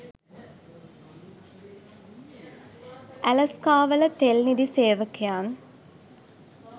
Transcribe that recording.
ඇලස්කාවල තෙල් නිධි සේවකයන්